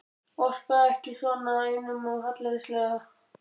Orka ekki svona, einum of hallærislegt.